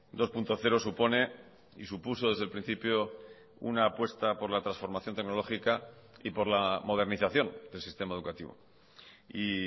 dos punto cero supone y supuso desde el principio una apuesta por la transformación tecnológica y por la modernización del sistema educativo y